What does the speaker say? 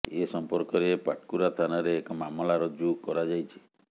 ଏ ସମ୍ପର୍କରେ ପାଟକୁରା ଥାନାରେ ଏକ ମାମଲା ରୁଜୁ କରାଯାଇଛି